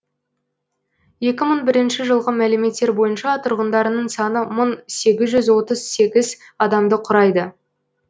екі мың бірінші жылғы мәліметтер бойынша тұрғындарының саны мың сегіз жүз отыз сегіз адамды құрайды